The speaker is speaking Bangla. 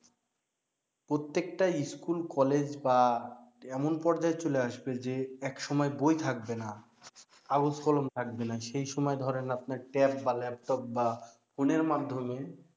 প্রত্যেক টা school কলেজ বা এমন পর্যায়ে চলে আসবে যে এক সময় বই থাকবে না কাগজ কলম থাকবে সেই সময় ধরেন আপনার tab বা laptop বা ফোনের মাধ্যমে